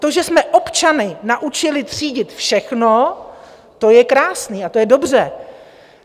To, že jsme občany naučili třídit všechno, to je krásné a to je dobře.